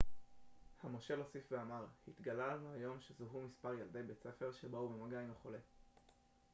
המושל הוסיף ואמר התגלה לנו היום שזוהו מספר ילדי בית ספר שבאו במגע עם החולה